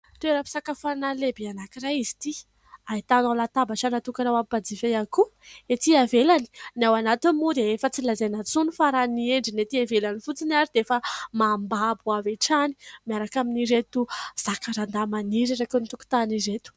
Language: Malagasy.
Toeram-pisakafoanana lehibe anankiray izy ity. Ahitanao latabatra natokana ho an'ny mpanjifa ihany koa etỳ ivelany, ny ao anatiny moa dia efa tsy lazaina intsony fa raha ny endriny etỳ ivelany fotsiny ary dia efa mambabo avy hatrany, miaraka amin'ireto zakarandà maniry eraky ny tokotany ireto.